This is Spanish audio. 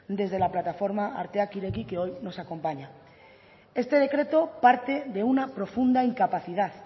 desde la plataforma arteak ireki que hoy nos acompaña este decreto parte de una profunda incapacidad